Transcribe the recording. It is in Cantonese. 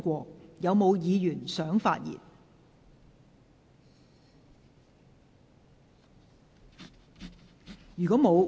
是否有議員想發言？